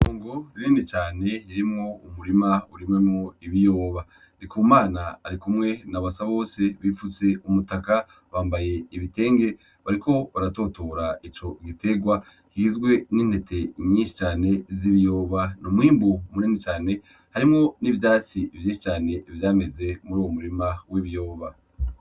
Itongo rinini cane ririmwo umurima urimwemwo ibiyoba, ndikumana ari kumwe na basabose bifutse umutaka bambaye ibitenge bariko baratutura ico gitegwa kigizwe n'intete nyinshi cane z'ibiyoba ni umwimbu mwinshi cane harimwo n'ivyatsi vyinshi cane vyameze muri uwo murima w'ibiyoba.